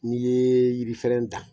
N'i ye yirifɛrɛn da